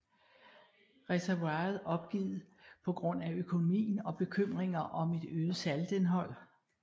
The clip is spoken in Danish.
Reservoiret opgivet på grund af økonomien og bekymringer om et øget saltindhold